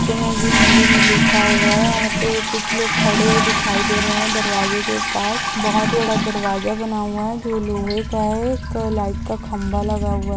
हिन्दी मे लिखा हुआ है और यहाँ पे कुछ लोग खड़े हुए दिखाई दे रहे है दरवाजे के पास बहुत बड़ा दरवाजा बना हुआ है जो लोहे का है एक लाइट का खंबा लगा हुआ--